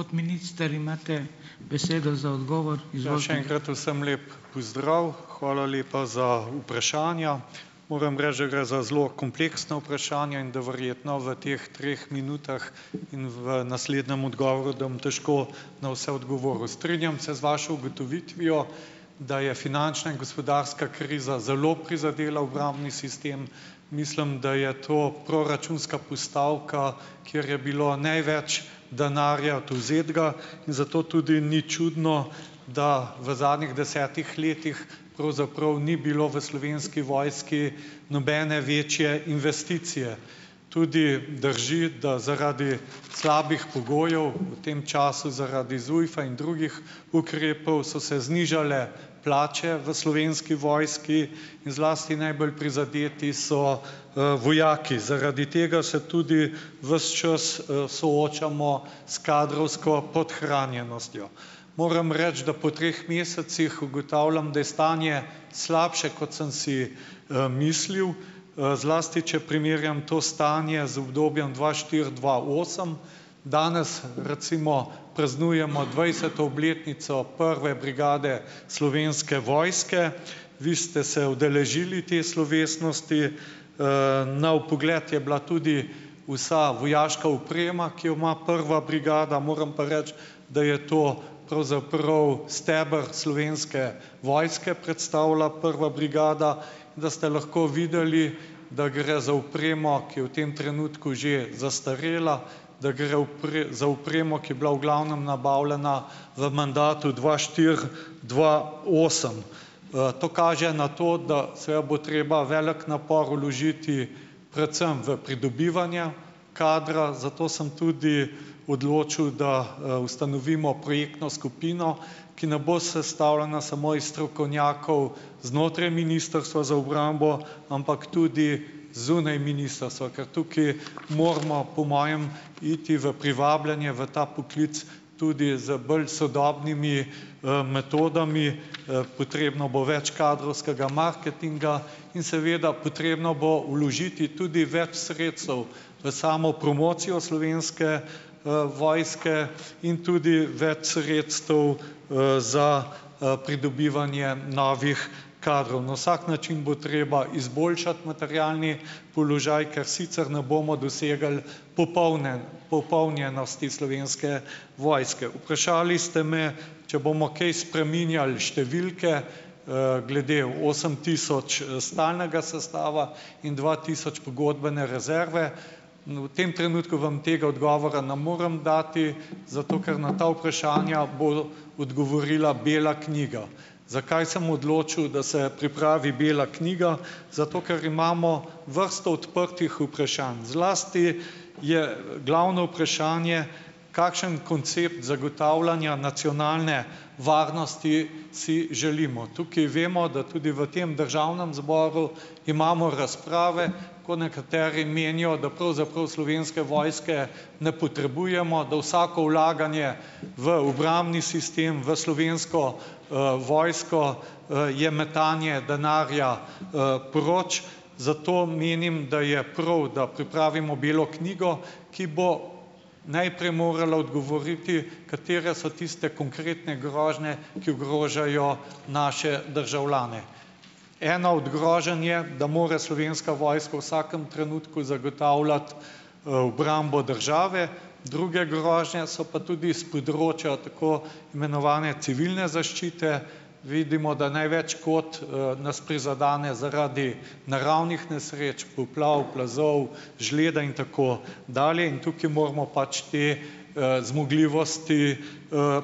Še enkrat vsem lep pozdrav! Hvala lepa za vprašanja. Moram reči, da gre za zelo kompleksna vprašanja in da verjetno v teh treh minutah in v naslednjem odgovoru, da bom težko na vse odgovoril. Strinjam se z vašo ugotovitvijo, da je finančna in gospodarska kriza zelo prizadela obrambni sistem. Mislim, da je to proračunska postavka, kjer je bilo največ denarja odvzetega. In zato tudi ni čudno, da v zadnjih desetih letih pravzaprav ni bilo v Slovenski vojski nobene večje investicije. Tudi drži, da zaradi slabih pogojev v tem času, zaradi ZUJF-a in drugih ukrepov, so se znižale plače v Slovenski vojski in zlasti najbolj prizadeti so, vojaki. Zaradi tega se tudi ves čas, soočamo s kadrovsko podhranjenostjo. Moram reči, da po treh mesecih ugotavljam, da je stanje slabše, kot sem si, mislil. Zlasti če primerjam to stanje z obdobjem dva štiri-dva osem. Danes, recimo, praznujemo dvajseto obletnico prve brigade Slovenske vojske. Vi ste se udeležili te slovesnosti. Na vpogled je bila tudi vsa vojaška oprema, ki jo ima prva brigada. Moram pa reči, da je to pravzaprav steber Slovenske vojske, predstavlja prva brigada. Da ste lahko videli, da gre za opremo, ki je v tem trenutku že zastarela, da gre za opremo, ko je bila v glavnem nabavljena v mandatu dva štiri- dva osem. To kaže na to, da seveda bo treba velik napor vložiti pretsm v pridobivanja kadra, zato sem tudi odločil, da, ustanovimo projektno skupino, ki ne bo sestavljena samo iz strokovnjakov znotraj Ministrstva za obrambo, ampak tudi zunaj ministrstva. Ker tukaj moramo, po mojem, iti v privabljanje v ta poklic tudi z bolj sodobnimi, metodami. Potrebno bo več kadrovskega marketinga in seveda potrebno bo vložiti tudi več sredstev v samo promocijo Slovenske, vojske in tudi več sredstev, za, pridobivanje novih kadrov. Na vsak način bo treba izboljšati materialni položaj, ker sicer ne bomo dosegli popolne, popolnjenosti Slovenske vojske. Vprašali ste me, če bomo kaj spreminjali številke, glede osem tisoč, stalnega sestava in dva tisoč pogodbene rezerve. V tem trenutku vam tega odgovora na morem dati, zato ker na ta vprašanja bo odgovorila bela knjiga. Zakaj sem odločil, da se pripravi bela knjiga? Zato ker imamo vrsto odprtih vprašanj. Zlasti je glavno vprašanje, kakšen koncept zagotavljanja nacionalne varnosti si želimo. Tukaj vemo, da tudi v tem državnem zboru imamo razprave, ko nekateri menijo, da pravzaprav Slovenske vojske ne potrebujemo. Da vsako vlaganje v obrambni sistem, v Slovensko, vojsko, je metanje denarja, proč. Zato menim, da je prav, da pripravimo belo knjigo, ki bo najprej morala odgovoriti, katere so tiste konkretne grožnje, ki ogrožajo naše državljane. Ena od groženj je, da more Slovenska vojska v vsakem trenutku zagotavljati, obrambo države, druge grožnje so pa tudi s področja tako imenovane civilne zaščite. Vidimo, da največ škod, nas prizadene zaradi naravnih nesreč, poplav, plazov, žleda in tako dalje in tukaj moramo pač te, zmogljivosti,